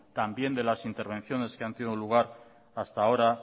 también de las intervenciones que han tenido lugar hasta ahora